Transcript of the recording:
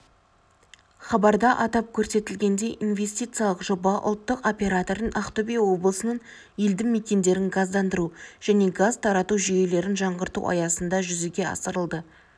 хабарда атап көрсетілгендей инвестициялық жоба ұлттық оператордың ақтөбе облысының елді-мекендерін газдандыру және газ тарату жүйелерін жаңғырту аясында жүзеге асырылды